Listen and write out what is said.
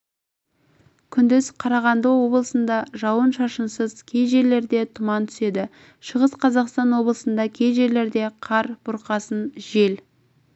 күндіз қарағанды облысында жауын-шашынсыз кей жерлерде тұман түседі шығыс қазақстан облысында кей жерлерде қар бұрқасын жел